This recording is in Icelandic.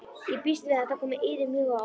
Ég býst við að þetta komi yður mjög á óvart.